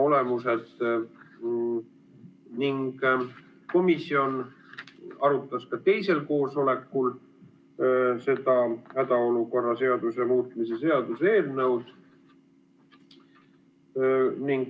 Komisjon arutas ka teisel koosolekul hädaolukorra seaduse muutmise seaduse eelnõu.